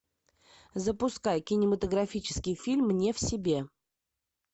запускай кинематографический фильм не в себе